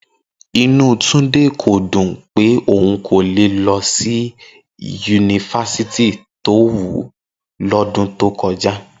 Inú Túndé kò dùn pé òun kò lè lọ sí yunifásítì tó wù ú lọ́dún tó kọjá